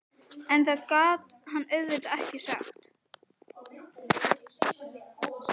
En það gat hann auðvitað ekki sagt.